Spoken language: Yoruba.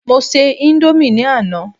mo se Indomie ni Ana